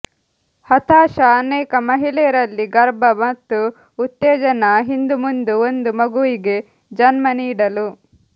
ಹತಾಶ ಅನೇಕ ಮಹಿಳೆಯರಲ್ಲಿ ಗರ್ಭ ಮತ್ತು ಉತ್ತೇಜನ ಹಿಂದುಮುಂದು ಒಂದು ಮಗುವಿಗೆ ಜನ್ಮ ನೀಡಲು